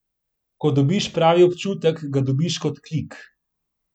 Ko dobiš pravi občutek, ga dobiš kot klik.